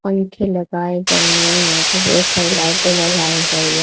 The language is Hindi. पंखे लगाए गए हैं यहां पे बहोत सारी हैं।